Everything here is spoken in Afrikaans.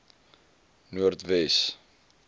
noordwes